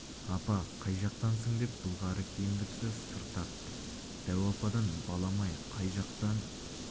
апа қай жақтансың деп былғары киімді кісі сыр тартты дәу ападан балам-ай қай жақтан